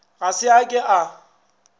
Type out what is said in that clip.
ga se a ke a